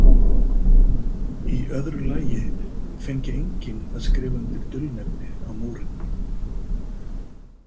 Í öðru lagi fengi enginn að skrifa undir dulnefni á Múrinn.